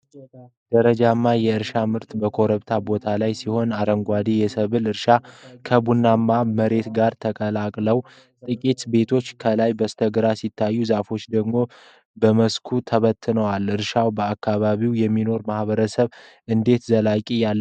ደረጃማ የእርሻ መሬቶች በኮረብታማ ቦታዎች ላይ ሲሆኑ፣ አረንጓዴ የሰብል እርሻዎች ከ ቡናማ ባዶ መሬት ጋር ተቀላቅለዋል። ጥቂት ቤቶች ከላይ በስተግራ ሲታዩ፣ ዛፎች ደግሞ በመስኩ ተበታትነዋል። እርሻዎች በአካባቢው ለሚኖሩ ማህበረሰቦች እንዴት ዘላቂነት ያለው ኑሮን ሊያቀርቡ ይችላሉ?